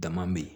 Dama be yen